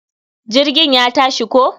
Jirgin ya tashi ko.